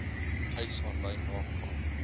eis aanlyn nagaan